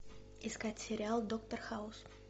искать сериал доктор хаус